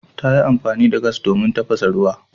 Ta yi amfani da gas domin tafasa ruwa.